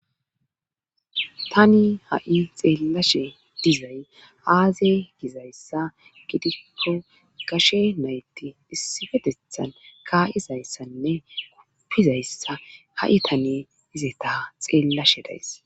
tani ha7i xeellashe dizay aaze gizayssa gidikko gashe nayti issifetethan ka7izayssanne guppizayssa ha7i tani izeta xeellashe days.